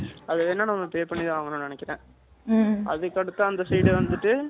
அது என்னனா ஒன்னு pay பண்ணி தான் ஆகணும் நினைக்கிறன் அதுக்கு அடுத்து அந்த side வந்துட்டு